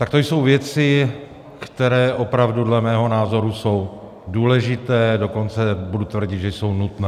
Tak to jsou věci, které opravdu dle mého názoru jsou důležité, dokonce budu tvrdit, že jsou nutné.